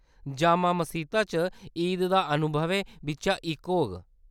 जामा मसीता च ईद दा अनुभवें बिच्चा इक होग।